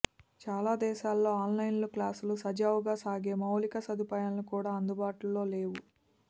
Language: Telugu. చాలా దేశాల్లో ఆన్లైన్ క్లాసులు సజావుగా సాగే మౌలిక సదుపాయాలు కూడా అందుబాటులో లేవు